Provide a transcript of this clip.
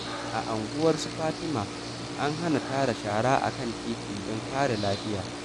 A anguwar su Fatima, an hana tara shara a kan titi don kare lafiya.